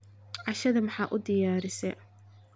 cashada maxa udiyarise